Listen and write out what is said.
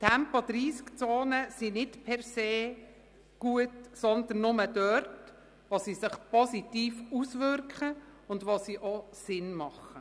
Tempo-30-Zonen sind nicht per se gut, sondern nur dort, wo sie sich positiv auswirken und Sinn ergeben.